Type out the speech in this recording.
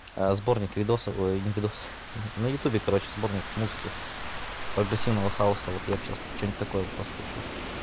а сборник видосов ой не видосов на ютубе короче сборник музыки прогрессивного хауса вот я бы сейчас что-нибудь такое послушал